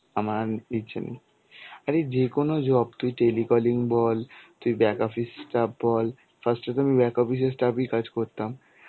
আমার আর ইচ্ছে নেই, আরে যে কোনো job তুই telecalling বল, তুই back office staff বল. first এ তো আমি back office এর staff কাজ করতাম.